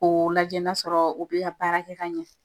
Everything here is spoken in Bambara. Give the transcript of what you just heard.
K'o lajɛ n'a sɔrɔ o be ka baara kɛ ka ɲɛ.